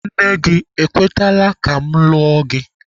Nne gị ekwetela ka mụ lụọ gị?